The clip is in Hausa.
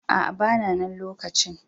A'a, ba na na lokacin.